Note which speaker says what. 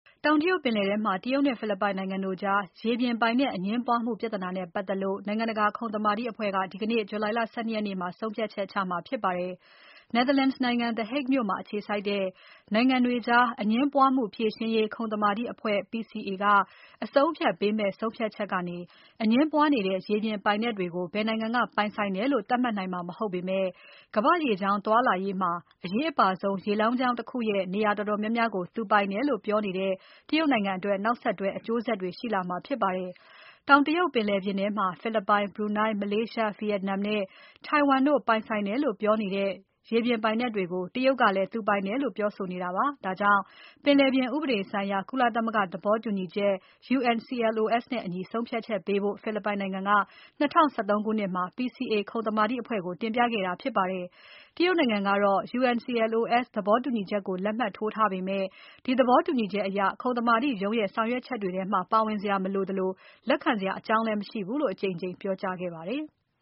Speaker 1: တောင်တရုတ် ပင်လယ်ထဲမှာ တရုတ်နဲ့ ဖိလစ်ပိုင်နိုင်ငံ တို့ကြား ရေပြင်ပိုင်နက် အငြင်းပွားမှု ပြဿနာနဲ့ ပါတ်သက်လို့ နိုင်ငံတကာ ခုံသမာဓိ အဖွဲ့က ဒီကနေ့ ဂျူလိုင်လ ၁၂ ရက်နေ့မှာ ဆုံးဖြတ်ချက်ချမှာဖြစ်ပါတယ်။ Netherlands နိုင်ငံ The Hague မြို့မှာ အခြေစိုက်တဲ့ နိုင်ငံတွေကြား အငြင်းပွားမှု ဖြေရှင်းရေး ခုံသမာဓိ အဖွဲ့ PCA က အဆုံးအဖြတ် ပေးမဲ့ ဆုံးဖြတ်ချက် ကနေ အငြင်းပွားနေတဲ့ ရေပြင် ပိုင်နက်တွေကို ဘယ်နိုင်ငံက ပိုင်ဆိုင်တယ်လို့ သတ်မှတ်နိုင်မှာ မဟုတ်ပါဘူး။ ဒါပေမဲ့ ကမ္ဘာ့ရေကြောင်း သွားလာရေးမှာ အရေးအပါဆုံး ရေလမ်းကြောင်း တခုရဲ့ နေရာ တော်တော်များများကို သူပိုင်တယ်လို့ ပြောနေတဲ့ တရုတ်နိုင်ငံအတွက် နောက်ဆက်တွဲ အကျိုးဆက်တွေ ရှိလာမှာ ဖြစ်ပါတယ်။ တောင်တရုတ် ပင်လယ် ထဲမှာ ဖိလစ်ပိုင်၊ Brunei, Malaysia, Vietnam နဲ့ Taiwan တို့ ပိုင်ဆိုင်တယ် လို့ ပြောနေတဲ့ ရေပိုင်နက် တွေကို တရုတ်ကလဲ သူပိုင်တယ်လို့ ပြောဆိုနေတာပါ။ ဒါကြောင့် ပင်လယ်ပြင် ဥပဒေဆိုင်ရာ ကုလသမဂ္ဂ သဘောတူညီချက် UNCLOS နဲ့ အညီ ဆုံးဖြတ်ပေးဖို့ အတွက် ဖိလစ်ပိုင်နိုင်ငံက ၂၀၁၃ ခုနှစ်မှာ PCA ခုံသမာဓိ အဖွဲ့ကို တင်ပြခဲ့တာဖြစ်ပါတယ်။ တရုတ်နိုင်ငံကတော့ UNCLOS သဘောတူညီချက်ကို လက်မှတ်ထိုးထားပေမဲ့ ဒီသဘောတူညီချက် အရ ခုံသမာဓိ ရုံးရဲ့ ဆောင်ရွက်ချက်တွေထဲမှာ ပါဝင်စရာ မလိုသလို လက်ခံစရာ အကြောင်းလဲ မရှိဘူးလို့ အကြိမ်
Speaker 2: ကြိမ် ပြောကြားခဲ့ပါတယ်။